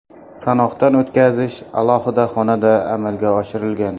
Sanoqdan o‘tkazish alohida xonada amalga oshirilgan.